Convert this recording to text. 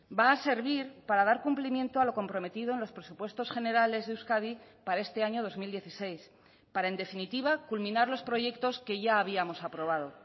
va a servir para dar cumplimiento a lo comprometido en los presupuestos generales de euskadi para este año dos mil dieciséis para en definitiva culminar los proyectos que ya habíamos aprobado